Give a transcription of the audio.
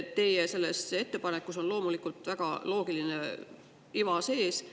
Teie selles ettepanekus on loomulikult väga loogiline iva sees.